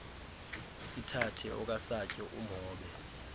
sithathe okasatyo umhobe